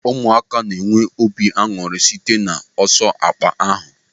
Ụmụaka na-enwe obi aṅụrị site n'ọsọ akpa ahụ.